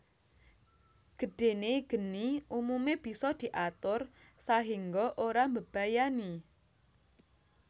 Gedhene geni umume bisa diatur sahengga ora mbebayani